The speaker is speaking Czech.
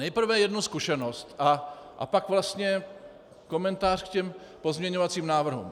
Nejprve jednu zkušenost a pak vlastně komentář k těm pozměňovacím návrhům.